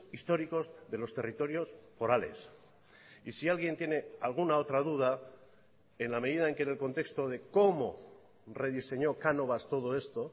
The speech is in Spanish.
históricos de los territorios forales y si alguien tiene alguna otra duda en la medida en que en el contexto de cómo rediseñó cánovas todo esto